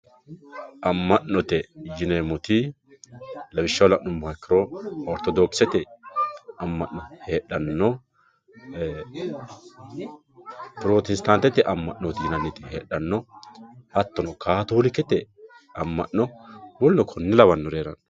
amma'note yineemmoti lawishshaho la'nummoha ikkiro ortodokisete amma'no heedhanno pirotestaantete amma'nooti yinanniti heedhanno hattono kaatoolikete amma'no woluno konne lawannori heeranno.